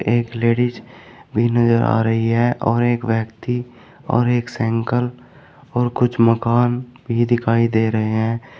एक लेडिस भी नजर आ रही है और एक व्यक्ति और एक साइकल और कुछ मकान भी दिखाई दे रहे हैं।